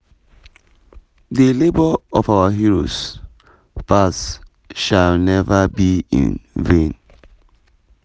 the labour of our heroes past shall never be in vain.